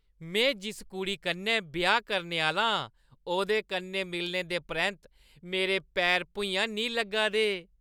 में जिस कुड़ी कन्नै ब्याह् करने आह्‌ला आं ओह्दे कन्नै मिलने दे परैंत्त मेरे पैर भुञां निं लग्गा दे।